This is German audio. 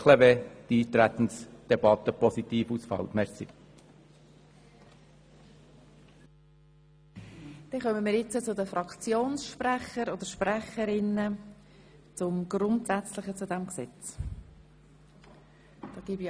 Sollte die Eintretensdebatte positiv ausfallen, können wir anschliessend die einzelnen Artikel beraten.